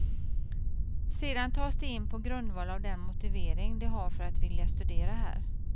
Sedan tas de in på grundval av den motivering de har för att vilja studera här.